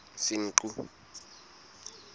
senqu